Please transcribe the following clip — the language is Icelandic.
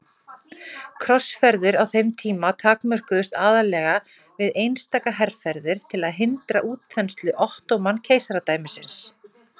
Krossferðir á þeim tíma takmörkuðust aðallega við einstaka herferðir til að hindra útþenslu Ottóman-keisaradæmisins.